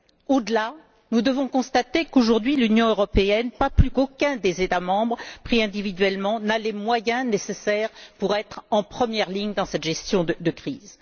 Au delà, nous devons constater qu'aujourd'hui l'Union européenne, pas plus qu'aucun des États membres pris individuellement, n'a les moyens nécessaires pour être en première ligne dans cette gestion de crise.